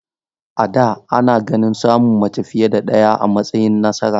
A da, ana ganin samun mace fiye da ɗaya a matsayin nasara.